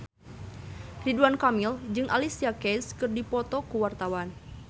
Ridwan Kamil jeung Alicia Keys keur dipoto ku wartawan